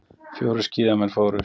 Fjórir skíðamenn fórust